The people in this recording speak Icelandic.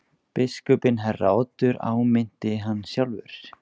Biskupinn herra Oddur áminnti hann sjálfur.